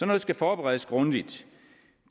noget skal forberedes grundigt